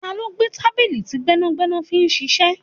Ta ló gbé tábìlì tí gbẹ́nàgbẹ́nà fi ń ṣíṣe?